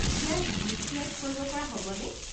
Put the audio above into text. ইয়াত gift wrap কৰিব পৰা হ'বনে?